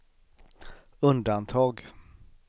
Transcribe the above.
undantag